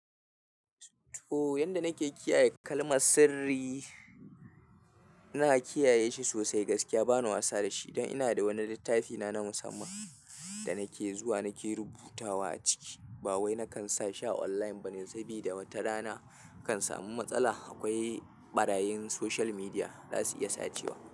To, yanda nake kiyaye kalmar sirri, ina kiyaye shi sosai gaskiya bana wasa da shi. Don ina da wani littafina na musamman da nake zuwa nake rubutawa a ciki. Ba wai nakan sa sha online bane sabida wata rana kar in samu matsala. Akwai ɓarayin social media za su iya sace wa.